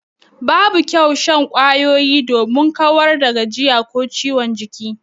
Babu kyau shan kwayoyi domin kawar da gajiya ko ciwon jiki.